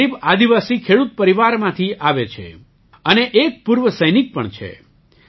તેઓ ગરીબ આદિવાસી ખેડૂત પરિવારમાંથી આવે છે અને એક પૂર્વ સૈનિક પણ છે